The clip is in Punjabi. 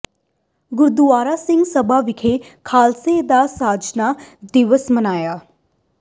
ਗੁਰਦੁਆਰਾ ਸਿੰਘ ਸਭਾ ਵਿਖੇ ਖਾਲਸੇ ਦਾ ਸਾਜਨਾ ਦਿਵਸ ਮਨਾਇਆ